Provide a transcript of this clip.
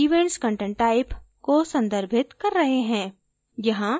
हम events content type को संदर्भित कर रहे हैं